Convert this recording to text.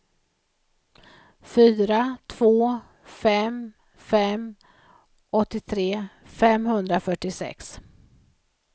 fyra två fem fem åttiotre femhundrafyrtiosex